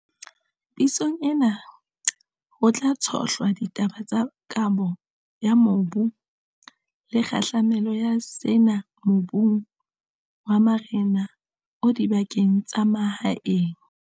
Pitsong ena, ho tla tshohlwa ditaba tsa kabo ya mobu le kgahlamelo ya sena mobung wa marena o dibakeng tsa mahaeng.